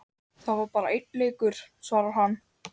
Það var bara leikur, svarar hann.